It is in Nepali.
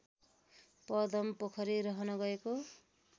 पदमपोखरी रहन गएको